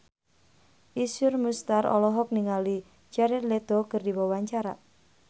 Iszur Muchtar olohok ningali Jared Leto keur diwawancara